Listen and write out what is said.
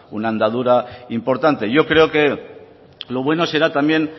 una andadura importante yo creo que lo bueno será también